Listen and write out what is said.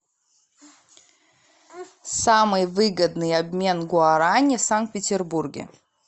самый выгодный обмен гуараней в санкт петербурге